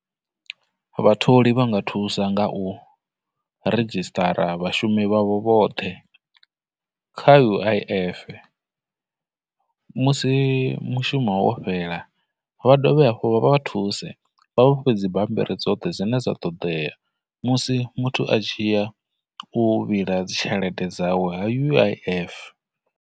Vhatholi vha nga thusa nga u register vhashumi vha vho vhoṱhe kha U_I_F, musi mushumo fhela, vha dovhe hafhu vha vha thuse vha vha fhe dzibambiri dzoṱhe dzine dza ṱoḓea musi muthu a tshiya u vhila dzitshelede dzawe ha U_I_F.